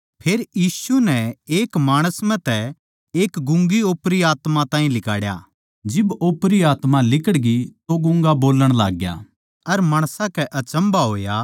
फेर यीशु नै एक गूंगे माणस म्ह तै ओपरी आत्मा ताहीं लिकाड़या जिब ओपरी आत्मा लिकड़गी तो गूँगा बोलण लागग्या अर माणसां कै अचम्भा होया